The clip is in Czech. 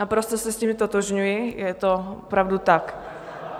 Naprosto se s tím ztotožňuji, je to opravdu tak.